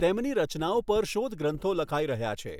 તેમની રચનાઓ પર શોધગ્રન્થો લખાઈ રહ્યા છે.